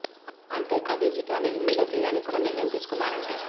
అంతే కాదు ఈ చిత్రాన్ని హిందీలో తీయడానికి కూడా నిర్ణయం తీసుకున్నారంటే